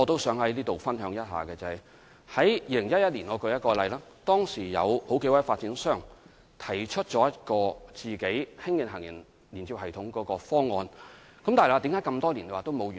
在2011年，當時有數個發展商提出自行興建行人天橋連接系統的方案，但為何這麼多年仍未完成？